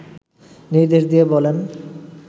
নির্দেশ দিয়ে বলেন